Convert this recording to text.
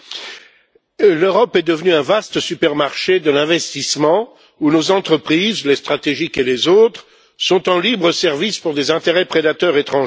Madame la Présidente, l'Europe est devenue un vaste supermarché de l'investissement, où nos entreprises, les stratégiques et les autres, sont en libre service pour des intérêts prédateurs étrangers.